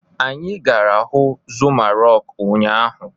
Anyị gara huu Zuma Rọku ụnyaahụ.